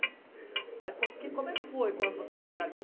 É. Aí co que como é que foi quando vocês chegaram aqui?